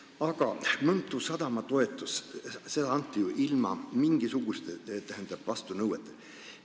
Aga Mõntu sadamale anti toetust ju ilma mingisuguste vastunõueteta.